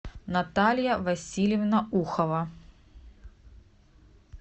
наталья васильевна ухова